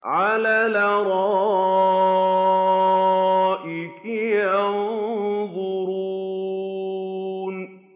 عَلَى الْأَرَائِكِ يَنظُرُونَ